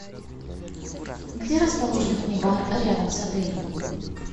где расположен мини бар рядом с отелем